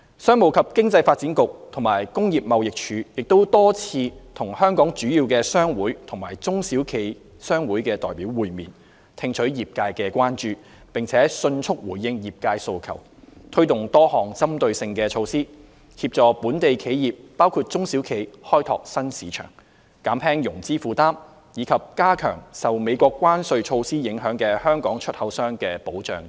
商務及經濟發展局和工業貿易署亦多次與香港主要商會及中小企商會代表會面，聽取業界關注，並迅速回應業界訴求，推出多項針對性措施，協助本地企業包括中小企開拓新市場、減輕融資負擔，以及加強受美國關稅措施影響的香港出口商的保障等。